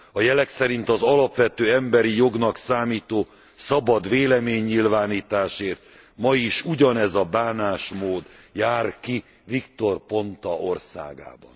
A jelek szerint az alapvető emberi jognak számító szabad véleménynyilvánításért ma is ugyanez a bánásmód jár ki Victor Ponta országában.